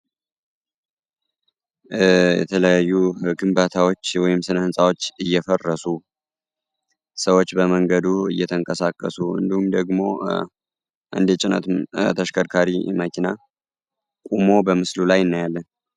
የተለያዩ ህግን ባታዎች የወይም ስነህንፃዎች እየፈረሱ ሰዎች በመንገዱ እየተንከሳከሱ እንዱም ደግሞ እንዴየጭነት ተሽከድካሪ መኪና ቁሞ በምስሉ ላይ እናያለን።